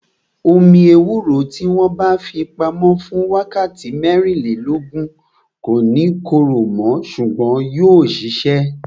Omi ewúro tí wọn bá fi pamo fún wákàtí mẹ́rìnlélógún, kò ní korò mo ṣùgbọ́n yóò sisẹ